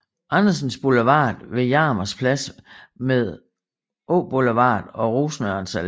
Andersens Boulevard ved Jarmers Plads med Åboulevard og Rosenørns Alle